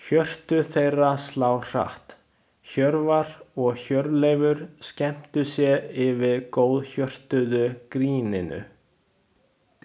Hjörtu þeirra slá hratt, Hjörvar og Hjörleifur skemmtu sér yfir góðhjörtuðu gríninu.